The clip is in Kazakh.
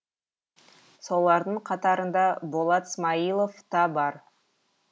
солардың қатарында болат смаилов та бар